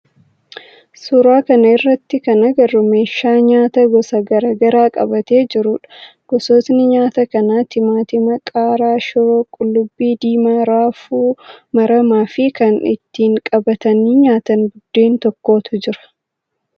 suuraa kana irratti kan agarru meeshaa nyaata gosa garaa garaa qabatee jirudha. Gosootni nyaata kanaa timaatima, qaaraa, shiroo, qullubbii diimaa, raafuu maramaa fi kan ittiin qabatanii nyaatan buddeen tokkotu jira.